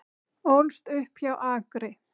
Ólst upp hjá Akri